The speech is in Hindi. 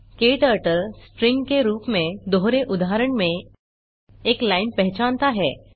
क्टर्टल स्ट्रिंग के रूप में दोहरे उद्धरण में एक लाइन पहचानता है